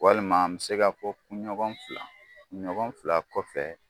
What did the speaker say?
Walima an bɛ se ka fɔ kun ɲɔgɔn fila kun ɲɔgɔn fila kɔfɛ